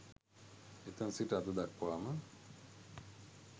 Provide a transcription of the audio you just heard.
එතැන් සිට අද දක්වාම